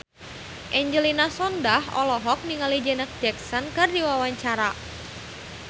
Angelina Sondakh olohok ningali Janet Jackson keur diwawancara